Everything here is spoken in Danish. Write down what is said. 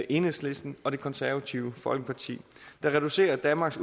enhedslisten og det konservative folkeparti der reducerer danmarks